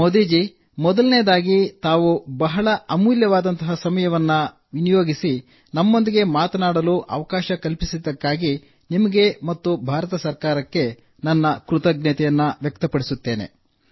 ಮೋದಿ ಜೀ ಮೊದಲನೆಯದಾಗಿ ತಾವು ಬಹಳ ಅಮೂಲ್ಯವಾದ ಸಮಯವನ್ನು ವಿನಿಯೋಗಿಸಿ ನನ್ನೊಂದಿಗೆ ಮಾತನಾಡಲು ಅವಕಾಶ ಕಲ್ಪಿಸಿದ್ದಕ್ಕಾಗಿ ನಾನು ನಿಮಗೆ ಮತ್ತು ಭಾರತ ಸರ್ಕಾರಕ್ಕೆ ನನ್ನ ಕೃತಜ್ಞತೆಯನ್ನು ವ್ಯಕ್ತಪಡಿಸುತ್ತೇನೆ